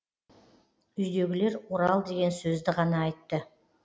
үйдегілер орал деген сөзді ғана айтты